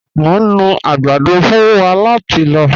Mọ̀ ń nú agbàdọ̀ fún wá láti lọ̀.